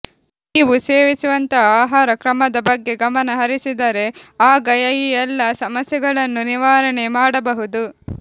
ನೀವು ಸೇವಿಸುವಂತಹ ಆಹಾರ ಕ್ರಮದ ಬಗ್ಗೆ ಗಮನಹರಿಸಿದರೆ ಆಗ ಈ ಎಲ್ಲಾ ಸಮಸ್ಯೆಗಳನ್ನು ನಿವಾರಣೆ ಮಾಡಬಹುದು